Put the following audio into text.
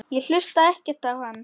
Ég hlusta ekkert á hann.